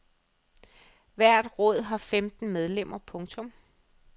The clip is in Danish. Hvert råd har femten medlemmer. punktum